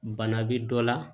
Bana bɛ dɔ la